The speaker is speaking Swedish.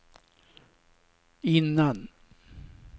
innan